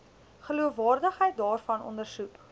geloofwaardigheid daarvan ondersoek